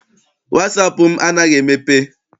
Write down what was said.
Wasaapụ m anaghị emepe.